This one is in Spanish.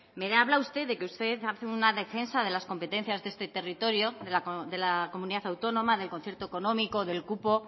me habla usted de que usted hace una defensa de las competencias de este territorio de la comunidad autónoma del concierto económico del cupo